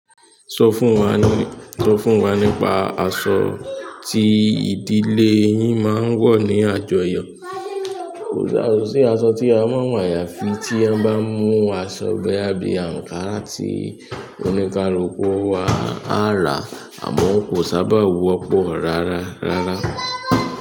Sọ fún wa nípa aṣọ tí ìdílé yín máa ń wọ̀ ní àjọyọ̀. Kò sì àsọ̀ tí a máa ń wọ ayafi tí a bá mú aṣọ bẹ́ àbí ankara tí oníkaluku wa á rà àmọ́ kò sábà wọ́pọ̀ rárá.